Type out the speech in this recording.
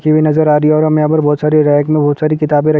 --हुए नजर आ रही है और हमें यहाँ पर बहुत सारी रैक में बहुत सारी--